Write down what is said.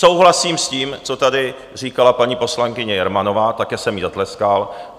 Souhlasím s tím, co tady říkala paní poslankyně Jermanová, taky jsem jí zatleskal.